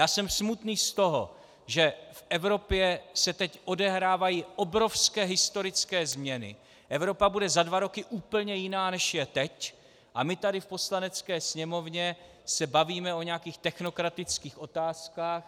Já jsem smutný z toho, že v Evropě se teď odehrávají obrovské historické změny, Evropa bude za dva roky úplně jiná, než je teď, a my tady v Poslanecké sněmovně se bavíme o nějakých technokratických otázkách.